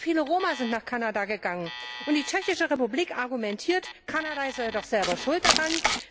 Sehr viele Roma sind nach Kanada gegangen, und die Tschechische Republik argumentiert, Kanada sei doch selber schuld daran.